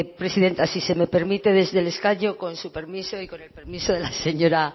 presidenta si se me permite desde el escaño con su permiso y con el permiso de la señora